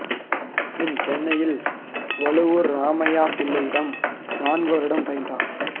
பின் சென்னையில் வழுவூர் ராமைய்யா பிள்ளையிடம் நான்கு வருடம் பயின்றார்